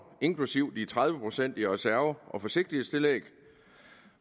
inklusive de tredive procent i reserve og forsigtighedstillæg